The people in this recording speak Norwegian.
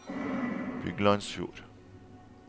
Byglandsfjord